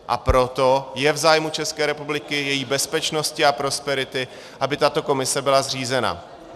A proto je v zájmu České republiky, její bezpečnosti a prosperity, aby tato komise byla zřízena.